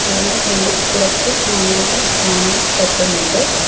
അതിന്റെ ഫ്രണ്ടിൽ കുറച്ച് മണലുകൾ കാണാൻ പറ്റുന്നുണ്ട്.